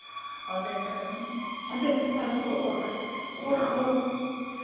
андай бір андай көзқарас болады ғой бір қорқып